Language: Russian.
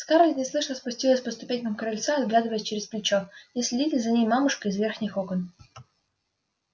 скарлетт неслышно спустилась по ступенькам крыльца оглядываясь через плечо не следит ли за ней мамушка из верхних окон